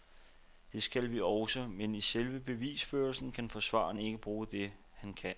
Det skal vi også, men i selve bevisførelsen kan forsvareren ikke bruge det, han kan.